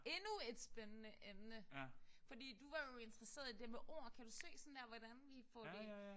Endnu et spændende emne. Fordi du var jo interesseret i det med ord kan du se sådan der hvordan vi får det